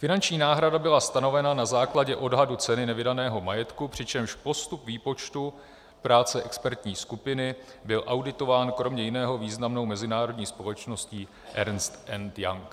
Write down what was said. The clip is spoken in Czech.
Finanční náhrada byla stanovena na základě odhadu ceny nevydaného majetku, přičemž postup výpočtu práce expertní skupiny byl auditován kromě jiného významnou mezinárodní společností Ernst and Young.